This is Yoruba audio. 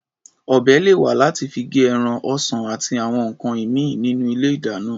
Ọ̀bẹ lè wà láti fi gé ẹran, ọsàn àti àwọn nǹkan ìmíì nínú ilé-ìdáná.